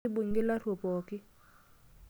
Keibung'I laruok pooki.